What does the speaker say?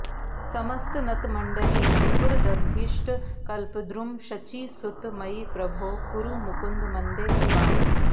समस्तनतमण्डलीस्फुरदभीष्टकल्पद्रुमः शचीसुत मयि प्रभो कुरु मुकुन्द मन्दे कृपाम्